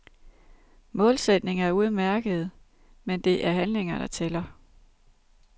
Målsætninger er udmærkede, men det er handlinger, der tæller.